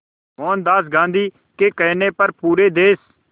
मोहनदास गांधी के कहने पर पूरे देश